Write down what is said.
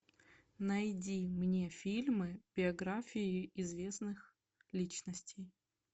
найди мне фильмы биографии известных личностей